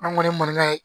An kɔni mankan ye